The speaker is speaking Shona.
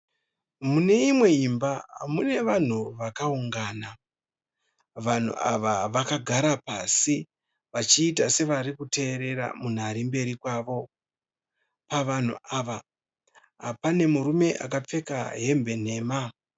Muine imwe imba. Mune vanhu vakaungana. Vanhu ava vakagara pasi vachiita sevarikuteerera munhu arikumberi kwavo. Pavanhu ava pane murume akapfeka hembe nhema